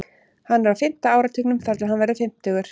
Hann er á fimmta áratugnum þar til hann verður fimmtugur.